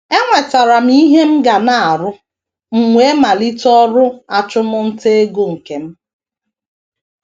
“ Enwetara m ihe m ga na - arụ, m wee malite ọrụ achụmnta ego nke m.